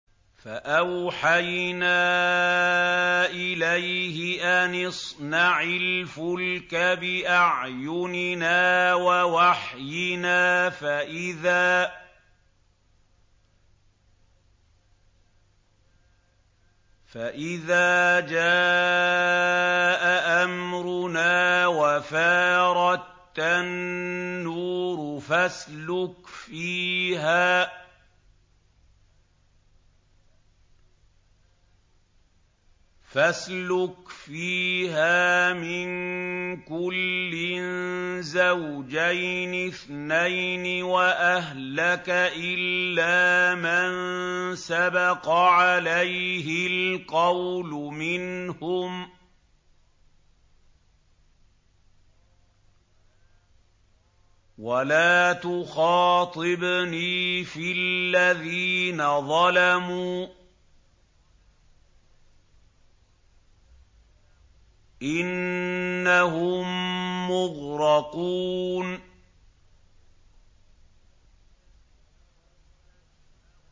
فَأَوْحَيْنَا إِلَيْهِ أَنِ اصْنَعِ الْفُلْكَ بِأَعْيُنِنَا وَوَحْيِنَا فَإِذَا جَاءَ أَمْرُنَا وَفَارَ التَّنُّورُ ۙ فَاسْلُكْ فِيهَا مِن كُلٍّ زَوْجَيْنِ اثْنَيْنِ وَأَهْلَكَ إِلَّا مَن سَبَقَ عَلَيْهِ الْقَوْلُ مِنْهُمْ ۖ وَلَا تُخَاطِبْنِي فِي الَّذِينَ ظَلَمُوا ۖ إِنَّهُم مُّغْرَقُونَ